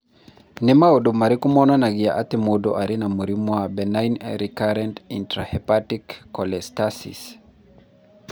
Nĩ maũndũ marĩkũ monanagia atĩ mũndũ arĩ na mũrimũ wa benign recurrent intrahepatic cholestasis?